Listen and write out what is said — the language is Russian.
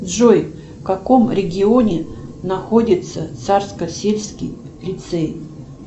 джой в каком регионе находится царско сельский лицей